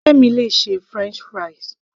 Ọ̀rẹ́ mi le ṣe french fries